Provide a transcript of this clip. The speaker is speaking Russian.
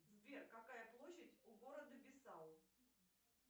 сбер какая площадь у города бисау